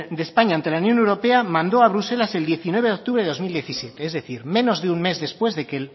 de españa ante la unión europea mandó a bruselas el diecinueve de octubre de dos mil diecisiete es decir menos de un mes después de que